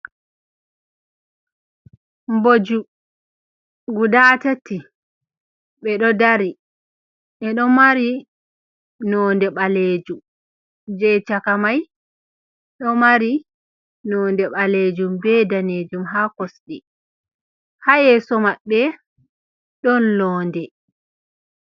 Booju, gudatti, ɓe ɗoo dari, ɓeɗo mari nonde ɓalejuum, je cakamai ɗo mari nonde ɓalejuum be danejuum, ha kosɗi ha yeso mabbe don loode.